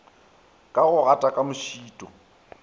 ka go gata ka mošito